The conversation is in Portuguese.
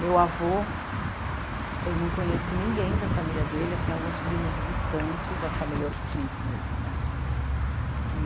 Meu avô, eu não conheci ninguém da família dele assim, alguns primos distantes, a família Ortiz mesmo né.